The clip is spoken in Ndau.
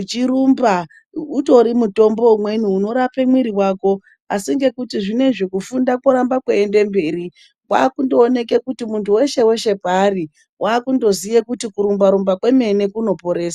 uchirumba nekuata mutombo umweni unorapa mwiri asi zvinezvi kufunda koramba kuchienda mberi zvakutooneka kuti muntu weshe weshe kwaari wakungoziva kuti kurumba rumba kwemene kunoporesa .